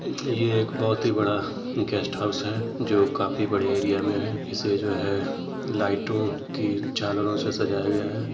यह एक बहुत ही बड़ा गेस्ट हाउस है जो काफी बड़े एरिया मे है इसे जो है लाइटों की झालरों से साझाया गया है।